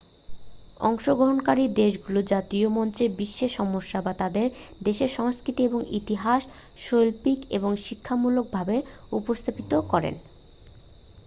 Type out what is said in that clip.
অংশগ্রহণকারী দেশগুলি জাতীয় মঞ্চে বিশ্বের সমস্যা বা তাঁদের দেশের সংস্কৃতি এবং ইতিহাস শৈল্পিক এবং শিক্ষামূলক ভাবে উপস্থাপিত করেন